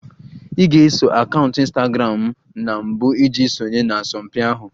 Ị ga-eso akaụntụ Ịnstagramụ m na mbụ iji sonye na asọmpi ahụ